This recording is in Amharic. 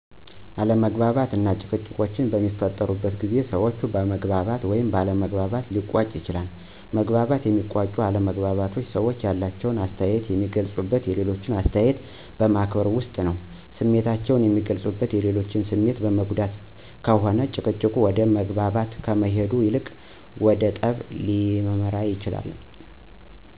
አለመግባባቶች እና ጭቅጭቆች በሚፈጠሩ ጊዜ ሰዎች በመግባባት ወይም ባለ መግባባት ሊቋጩ ይችላሉ። በመግባባት የሚቋጩ አለመግባባቶች ሰዎች ያላቸውን አስተያየት የሚገልፁት የሌሎችን አስተያየት በማክበር ውስጥ ነው። ስሜታቸውን የሚገልፁት የሌሎችን ስሜት በመጉዳት ከሆነ ጭቅጭቁ ወደ መግባባት ከመሄድ ይልቅ ወደ ጠብ ሊያመራ ይችላል።